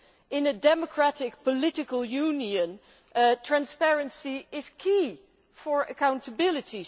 In a democratic political union, transparency is key to accountability.